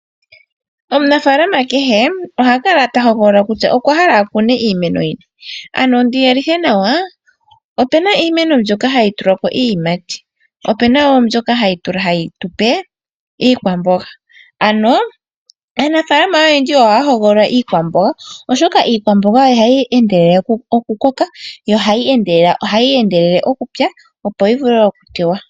Omunafaalama kehe oha kala tahogolola kutya okwa hala okukuna iimeno yini ano ndi yelithe nawa opena iimeno mbyono hayi tuluka ko iiyimati opena woo mbyono hayi tupe iikwamboga ano aafalama ohaa hogolola iikwamboga oshoka iikwamboga ohayi endelele okukoka yo ohayi endelele okupya opo yi vule okutewa.